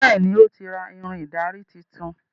Béèni o tí ra Ìrìn ìdarí títún.